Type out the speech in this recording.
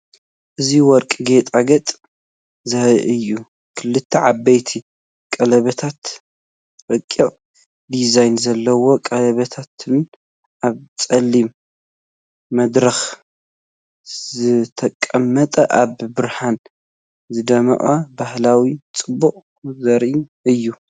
እዚ ወርቂ ጌጣጌጥ ዘርኢ እዩ ፡ ክልተ ዓበይቲ ቀለቤታትን ረቂቕ ዲዛይን ዘለዎ ቀለቤትን፡ ኣብ ጸሊም መድረኽ ዝተቐመጠ። ኣብ ብርሃን ዝደምቕ ባህላዊ ጽባቐ ዘርኢ እዩ።